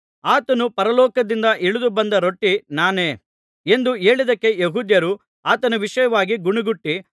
ಆತನು ಪರಲೋಕದಿಂದ ಇಳಿದು ಬಂದ ರೊಟ್ಟಿ ನಾನೇ ಎಂದು ಹೇಳಿದ್ದಕ್ಕೆ ಯೆಹೂದ್ಯರು ಆತನ ವಿಷಯವಾಗಿ ಗೊಣಗುಟ್ಟಿ